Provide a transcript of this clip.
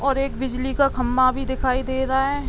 और एक बिजली का खम्बा भी दिखाई दे रहा है।